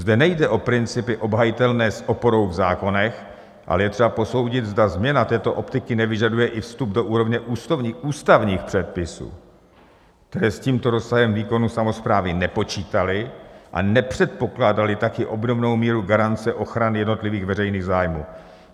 Zde nejde o principy obhajitelné s oporou v zákonech, ale je třeba posoudit, zda změna této optiky nevyžaduje i vstup do úrovně ústavních předpisů, které s tímto rozsahem výkonu samosprávy nepočítaly a nepředpokládaly také obdobnou míru garance ochrany jednotlivých veřejných zájmů.